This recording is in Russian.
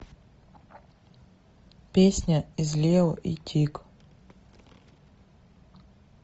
песня из лео и тиг